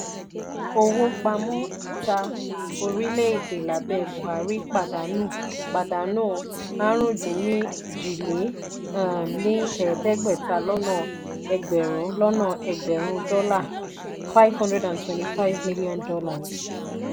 owó pamọ́ ìta orílè-èdè lábé buhari pàdánù pàdánù àrún-dín-ní-ojì lé um ní um ẹ̀ẹ́dẹ́gbẹ́ta lọ́nà egberun lọ́nà egberun dola($ five hundred twenty five million )